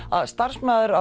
að starfsmaður